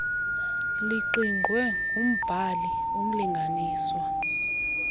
liqingqwe ngumbhali umlinganiswa